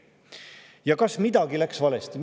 Ja kas midagi läks valesti?